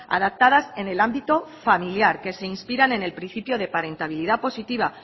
adaptadas en el ámbito familiar que se inspiran en el principio de parentabilidad positiva